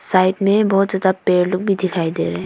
side में बहुत ज्यादा पेड़ लोग भी दिखाई दे रहे--